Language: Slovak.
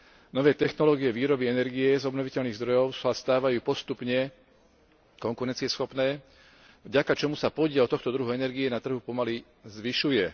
Nové technológie výroby energie z obnoviteľných zdrojov sa stávajú postupne konkurencieschopné, vďaka čomu sa podiel tohto druhu energie na trhu pomaly zvyšuje.